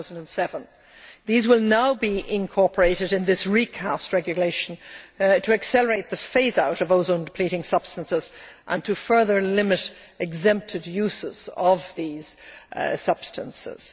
2007. These will now be incorporated in this recast regulation to accelerate the phase out of ozone depleting substances and to further limit exempted uses of these substances.